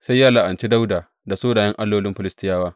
Sai ya la’anci Dawuda da sunayen allolin Filistiyawa.